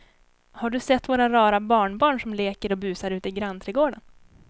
Har du sett våra rara barnbarn som leker och busar ute i grannträdgården!